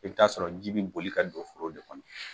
I bi taa sɔrɔ ji bi boli ka don foro de kɔnɔ.